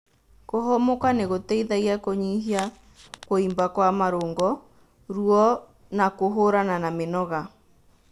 Kũhumũka nĩ gũteithagia kũnyihia kũimba kwa marũngo , ruo na kũhũrana na mĩnoga